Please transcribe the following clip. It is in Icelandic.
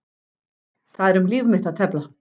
Það er um líf mitt að tefla.